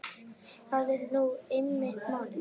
Það er nú einmitt málið.